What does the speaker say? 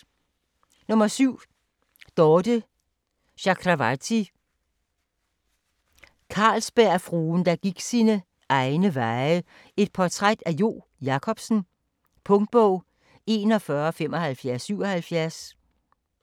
7. Chakravarty, Dorthe: Jo: Carlsbergfruen, der gik sine egne veje: et portræt af Jo Jacobsen Punktbog 417577